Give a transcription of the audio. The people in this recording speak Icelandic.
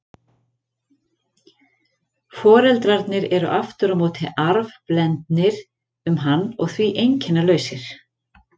Foreldrarnir eru aftur á móti arfblendnir um hann og því einkennalausir.